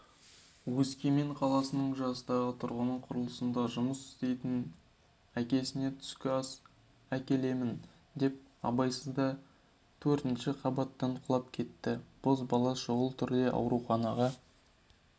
өскемен қаласының жастағы тұрғыны құрылыста жұмыс істейтін әкесіне түскі ас әкелемін деп абайсызда төртінші қабаттан құлап кетті бозбала шұғыл түрде ауруханаға